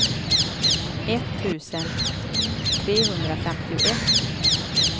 etttusen trehundrafemtioett